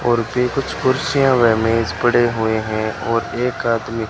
और भी कुछ कुर्सियां वे मेज पड़े हुए हैं और एक आदमी--